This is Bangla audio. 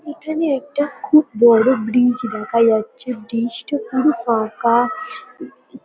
এখানে একটা খুব বড়ো ব্রীজ দেখা যাচ্ছে। ব্রীজ -টা পুরো ফাঁকা-আ ।